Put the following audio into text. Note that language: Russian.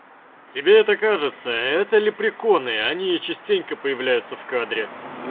тебе это кажется это лепреконы они частенько появляются в кадре